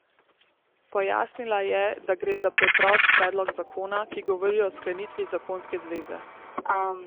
Pojasnila je, da gre za preprost predlog zakona, ki govori o sklenitvi zakonske zveze.